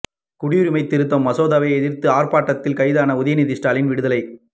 குடியுரிமை திருத்த மசோதாவை எதிர்த்து ஆர்ப்பாட்டத்தில் கைதான உதயநிதி ஸ்டாலின் விடுதலை